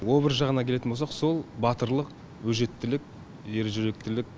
образ жағына келетін болсақ сол батырлық өжеттілік ержүректілік